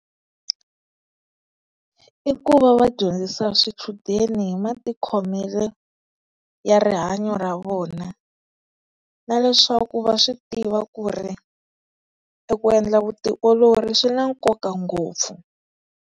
I ku va va dyondzisa swichudeni hi matikhomelo ya rihanyo ra vona, na leswaku va swi tiva ku ri eku endla vutiolori swi na nkoka ngopfu.